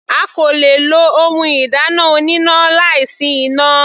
A kò le lo ohun ìdáná oníná láì sí iná.